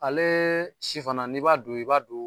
Ale si fana n'i b'a don i b'a don